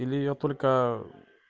или я только